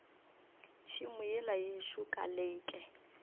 tšhemo yela yešo ka leke